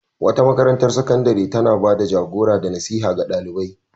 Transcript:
Makarantar sakandare tana ba da jagora da nasiha ga ɗalibai.